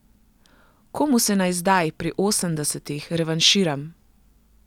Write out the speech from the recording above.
Komu se naj zdaj, pri osemdesetih, revanširam?